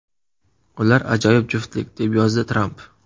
Ular ajoyib juftlik”, deb yozdi Tramp.